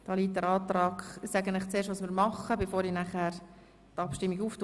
Ich werde Ihnen zuerst sagen, was wir machen werden, bevor ich nachher die Abstimmung durchführen werde.